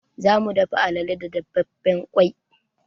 Za mu dafa alale da dafaffen ƙwai.